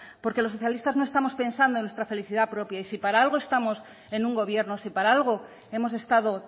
porque los socialistas no estamos pensando en nuestra felicidad propia y sí para algo estamos en un gobierno sí para algo hemos estado